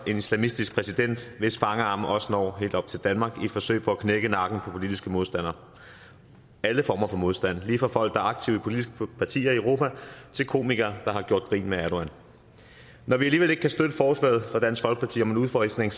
en islamistisk præsident hvis fangarme også når helt op til danmark i et forsøg på at knække nakken på politiske modstandere alle former for modstand lige fra folk der er aktive i politiske partier i europa til komikere der har gjort grin med erdogan når vi alligevel ikke kan støtte forslaget fra dansk folkeparti om en udfasning